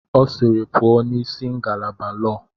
Ọ sịịrị, pụọ n'isi ngalaba lọọ!